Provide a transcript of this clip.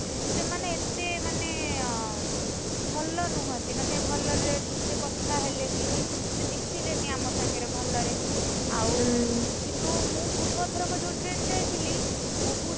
ସେମାନେ ଏ, ତେ ମାନେ, ଭଲ ନୁହନ୍ତି ମାନେ ଭଲରେ ଠିକ୍ ସେ କଥା ହେଲେନି। ମିଶିଲେନି ଆମ ସାଙ୍ଗରେ ଭଲରେ, ଆଉ, କିନ୍ତୁ ମୁଁ ପୂର୍ବ ଥରକ ଯୋଉ train ରେ ଯାଇଥିଲି, ବହୁତ।